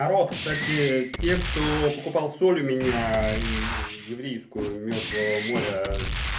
народ кстати те кто покупал соль у меня еврейскую мёртвого моря